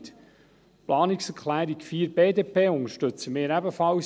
Die Planungserklärung 4 der BDP unterstützen wir ebenfalls.